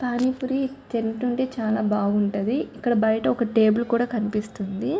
పానీ పూరి తింటుంటే చాలా బాగుంటది. ఇక్కడ బయట ఒక టేబుల్ కూడా కనిపిస్తుంది.